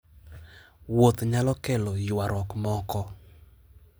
Wuoth nyalo kelo ywaruok moko.